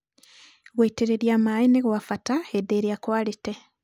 Gũitĩrĩria maĩ nĩgwabata hĩndĩ ĩrĩa kwarĩte.